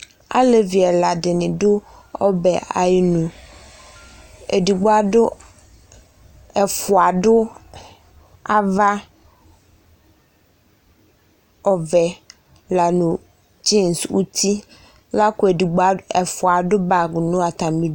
Alevi ɛla dɩnɩ dʋ ɔbɛ ayʋ inu Edigbo adʋ ɛfʋa dʋ ava ɔvɛ la nʋ dzins nʋ uti la kʋ ɛfʋa adʋ bag nʋ atamɩ